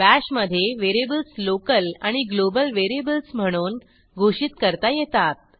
bash मधे variables local आणि global variables म्हणून घोषित करता येतात